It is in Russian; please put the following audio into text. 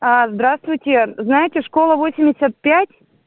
здравствуйте знаете школа восемьдесят пять